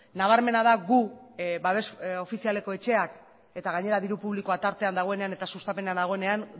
nabarmena da gu babes ofizialeko etxeak eta gainera diru publikoa tartean dagoenean eta sustapena dagoenean